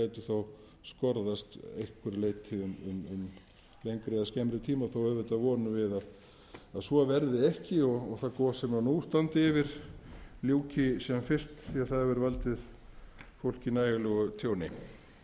skerðist að einhverju leyti um lengri eða skemmri tíma þó auðvitað vonum við að svo verði ekki og það gos sem nú standi yfir ljúki sem fyrst því það hefur valdið fólki nægilegu tjóni ég ætlast